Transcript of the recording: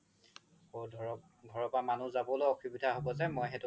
অ ধৰক ঘৰৰ পৰা মানুহ যাবলৈও অসুবিধা হ্'ব যে মই সেইতো